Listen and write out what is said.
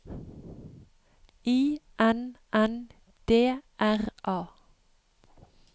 I N N D R A